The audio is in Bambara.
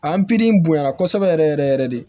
A bonyara kosɛbɛ yɛrɛ yɛrɛ yɛrɛ de